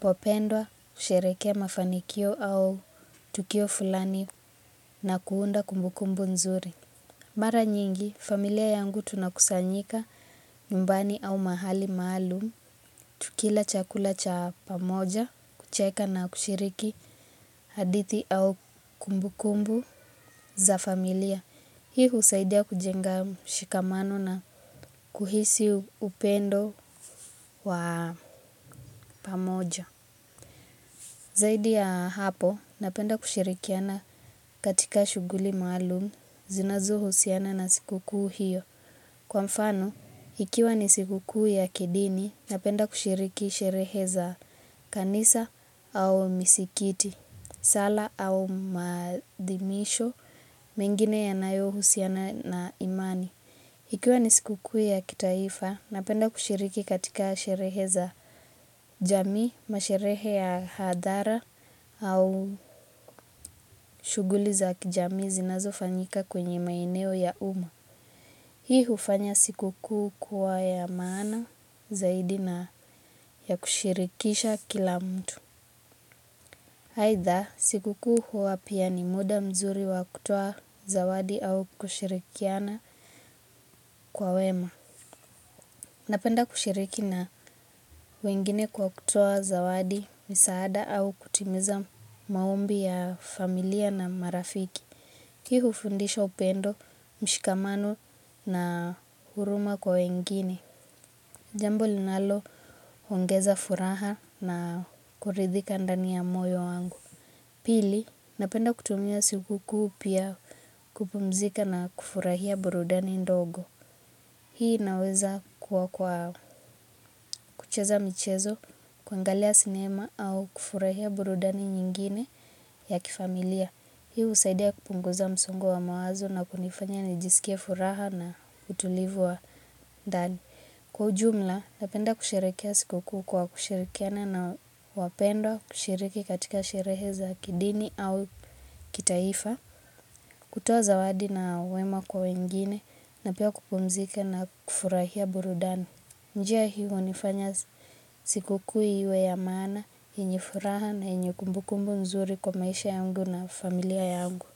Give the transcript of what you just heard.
popendwa kusherehekea mafanikio au tukio fulani na kuunda kumbukumbu nzuri. Mara nyingi, familia yangu tunakusanyika nyumbani au mahali maalum, tukila chakula cha pamoja, kucheka na kushiriki hadithi au kumbukumbu za familia. Hii husaidia kujenga mshikamano na kuhisi upendo wa pamoja. Zaidi ya hapo, napenda kushirikiana katika shughuli maalum, zinazohusiana na sikukuu hiyo. Kwa mfano, ikiwa ni sikukuu ya kidini, napenda kushiriki sherehe za kanisa au misikiti, sala au maadhimisho, mengine yanayohusiana na imani. Ikiwa ni sikukuu ya kitaifa, napenda kushiriki katika sherehe za jamii, masherehe ya hadhara au shughuli za kijamii zinazofanyika kwenye maeneo ya umma. Hii hufanya sikukuu kuwa ya maana zaidi na ya kushirikisha kila mtu. Aidha, sikukuu huwa pia ni muda mzuri wa kutoa zawadi au kushirikiana kwa wema. Napenda kushiriki na wengine kwa kutoa zawadi, misaada au kutimiza maombi ya familia na marafiki. Hii hufundisha upendo, mshikamano na huruma kwa wengine. Jambo linaloongeza furaha na kuridhika ndani ya moyo wangu. Pili, napenda kutumia sikukuu pia kupumzika na kufurahia burudani ndogo. Hii inaweza kuwa kwa kucheza michezo, kuangalia sinema au kufurahia burudani nyingine ya kifamilia. Hii husaidia kupunguza msongo wa mawazo na kunifanya nijisikie furaha na utulivu wa ndani. Kwa ujumla, napenda kusherehekea sikukuu kwa kushirikiana na wapendwa, kushiriki katika sherehe za kidini au kitaifa, kutoa zawadi na wema kwa wengine na pia kupumzika na kufurahia burudani. Njia hii hunifanya sikukuu iwe ya maana, yenye furaha na yenye kumbukumbu nzuri kwa maisha yangu na familia yangu.